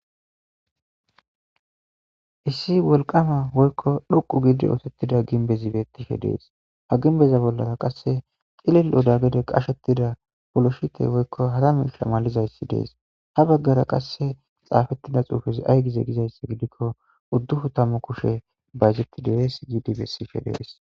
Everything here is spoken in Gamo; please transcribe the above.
Issi wolqama woykko dhuqu giidi ootettida ginbezibetishe dees ha ginbeza bollara qasse cilil oda gede qashettida poloshite woykko hara misamalizayssi dees ha baggara qasse xaafettida xuufezi ay gize gizayssa gidikko udduhu tammu kushe bazetti derees gidi bessishe dees.